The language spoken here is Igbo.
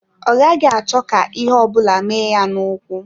Ọ gaghị achọ ka ihe ọ bụla mee ya n'ụkwụ.